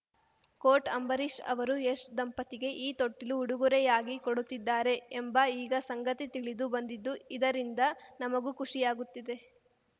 coat Ambareesh ಅವರು ಯಶ್‌ ದಂಪತಿಗೆ ಈ ತೊಟ್ಟಿಲು ಉಡುಗೊರೆಯಾಗಿ ಕೊಡುತ್ತಿದ್ದಾರೆ ಎಂಬ ಈಗ ಸಂಗತಿ ತಿಳಿದು ಬಂದಿದ್ದು ಇದರಿಂದ ನಮಗೂ ಖುಷಿಯಾಗುತ್ತಿದೆ